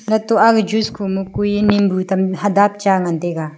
lat to aga juice kho ma kui ee nimbu tam hadap cha ngan taiga.